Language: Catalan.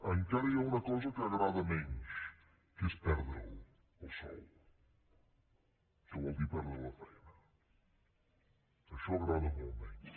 encara hi ha una cosa que agrada menys que és perdre’l el sou que vol dir perdre la feina això agrada molt menys